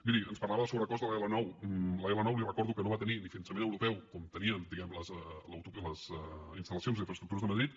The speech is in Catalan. miri ens parlava del sobrecost de l’l9 l’l9 li recordo que no va tenir ni finançament europeu com tenien diguem ne les instal·lacions i infraestructures de madrid